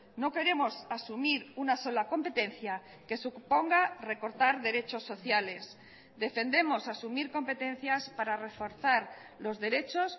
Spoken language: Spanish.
no queremos asumir una sola competencia que suponga recortar derechos sociales defendemos asumir competencias para reforzar los derechos